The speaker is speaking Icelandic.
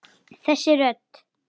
Þessi rödd!